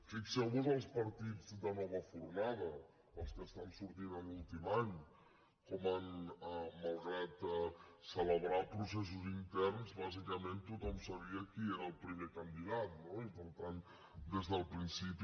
fixeuvos els partits de nova fornada els que estan sortint en l’últim any com malgrat celebrar processos interns bàsicament tothom sabia qui era el primer candidat no i per tant des del principi